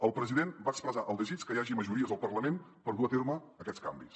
el president va expressar el desig que hi hagi majories al parlament per dur a terme aquests canvis